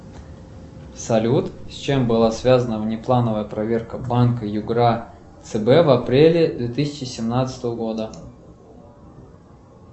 салют с чем была связана внеплановая проверка банка югра цб в апреле две тысячи семнадцатого года